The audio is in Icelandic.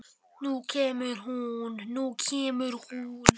Nú kemur hún, nú kemur hún!